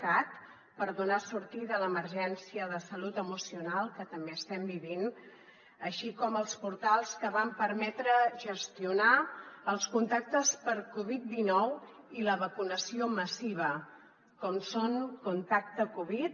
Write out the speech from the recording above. cat per donar sortida a l’emergència de salut emocional que també estem vivint així com els portals que van permetre gestionar els contactes per covid dinou i la vacunació massiva com són contactecovid